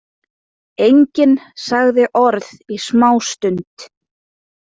Enginn sagði orð í smástund.